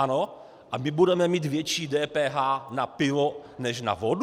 Ano, a my budeme mít větší DPH na pivo než na vodu?